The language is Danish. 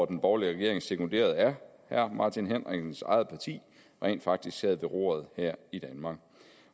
den borgerlige regering sekunderet af herre martin henriksens eget parti rent faktisk sad ved roret her i danmark